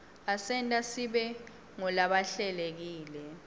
asenta sibe ngulabahlelekile